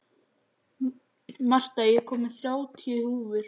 Marta, ég kom með þrjátíu húfur!